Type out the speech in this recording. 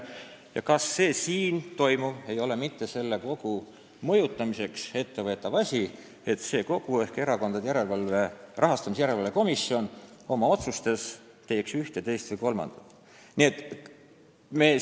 Ja kas see siin toimuv ei ole mitte ühe kogu mõjutamiseks ette võetud asi, et see kogu ehk Erakondade Rahastamise Järelevalve Komisjon teeks ühe, teise või kolmanda otsuse?